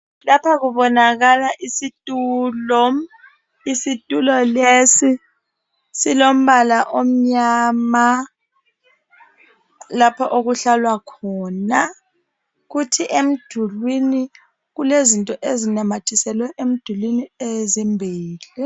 Lapha kubonakala isitulo, isitulo lesi silombala omnyama lapha okuhlalwa khona. Kuthi emdulini kulezinto ezinamathiselwe emdulini ezimbili.